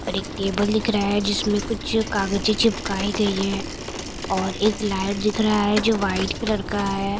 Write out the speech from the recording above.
और एक टेबल दिख रहा है जिसमें कुछ कागजे चिपकाई गई है और एक लाइट दिख रहा है जो वाइट कलर का है।